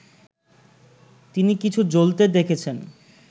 তিনি কিছু জ্বলতে দেখেছেন